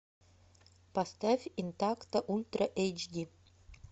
поставь интакто ультра эйч ди